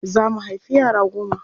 Za mu haifi yara goma.